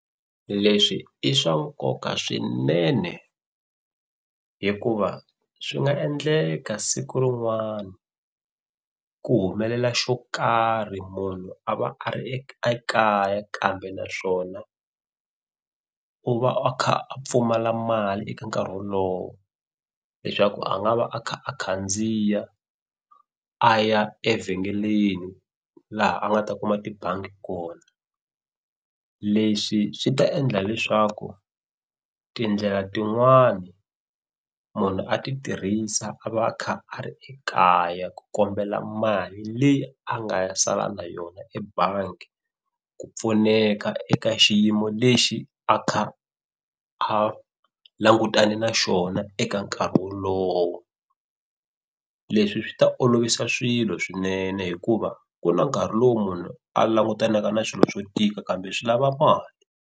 Leswi i swa nkoka swinene hikuva swi nga endleka siku rin'wana ku humelela xo karhi munhu a va a ri ekaya kambe naswona u va a kha a pfumala mali eka nkarhi wolowo leswaku a nga va a kha a khandziya a ya evhengeleni laha a nga ta kuma tibangi kona. Leswi swi ta endla leswaku tindlela tin'wani munhu a ti tirhisa a va a kha a ri ekaya ku kombela mali leyi a nga ya sala na yona ebangi ku pfuneka eka xiyimo lexi a kha a langutane na xona eka nkarhi wolowo. Leswi swi ta olovisa swilo swinene hikuva ku na nkarhi lowu munhu a langutanaka na swilo swo tika kambe swi lava mali.